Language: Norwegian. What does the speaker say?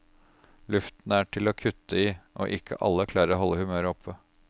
Luften er til å kutte i, og ikke alle klarer å holde humøret oppe.